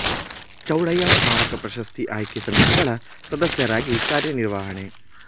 ಚೌಡಯ್ಯ ಸ್ಮಾರಕ ಪ್ರಶಸ್ತಿ ಆಯ್ಕೆ ಸಮಿತಿಗಳ ಸದಸ್ಯರಾಗಿ ಕಾರ್ಯ ನಿರ್ವಹಣೆ